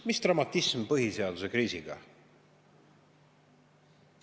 Mis dramatism selle põhiseaduse kriisiga on?